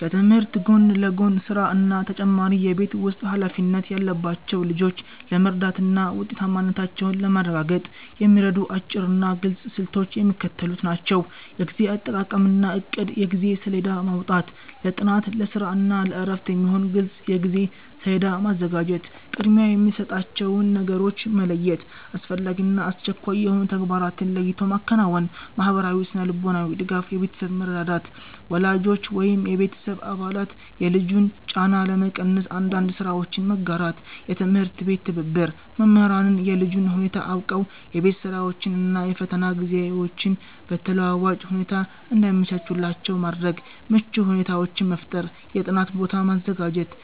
ከትምህርት ጎን ለጎን ስራ እና ተጨማሪ የቤት ውስጥ ኃላፊነት ያለባቸውን ልጆች ለመርዳትና ውጤታማነታቸውን ለማረጋገጥ የሚረዱ አጭርና ግልጽ ስልቶች የሚከተሉት ናቸው፦ የጊዜ አጠቃቀምና እቅድ የጊዜ ሰሌዳ ማውጣት፦ ለጥናት፣ ለስራ እና ለእረፍት የሚሆን ግልጽ የጊዜ ሰሌዳ ማዘጋጀት። ቅድሚያ የሚሰጣቸውን ነገሮች መለየት፦ አስፈላጊና አስቸኳይ የሆኑ ተግባራትን ለይቶ ማከናወን። ማህበራዊና ስነ-ልቦናዊ ድጋፍ የቤተሰብ መረዳዳት፦ ወላጆች ወይም የቤተሰብ አባላት የልጁን ጫና ለመቀነስ አንዳንድ ስራዎችን መጋራት። የትምህርት ቤት ትብብር፦ መምህራን የልጁን ሁኔታ አውቀው የቤት ስራዎችን እና የፈተና ጊዜዎችን በተለዋዋጭ ሁኔታ እንዲያመቻቹላቸው ማድረግ። ምቹ ሁኔታዎችን መፍጠር የጥናት ቦታ ማዘጋጀት፦